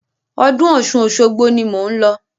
Ọdún Ọ̀ṣun Òṣogbo ni mò ń lọ.